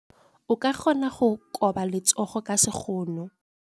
O ka kgona go koba letsogo ka sekgono.